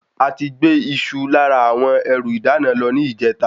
Ati gbé Isu lára àwọn ẹrù ìdáná lọ ni ijeta